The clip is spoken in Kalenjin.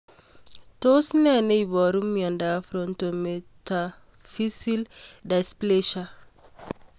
Tos nee neiparu miondop Frontometaphyseal dysplasia